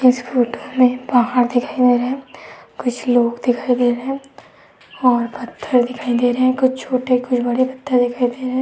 इस फोटो में पहाड़ दिखाई दे रहे। कुछ लोग दिखाई दे रहे और पत्थर दिखाई दे रहे। कुछ छोटे कुछ बड़े पत्थर दिखाई दे रहे --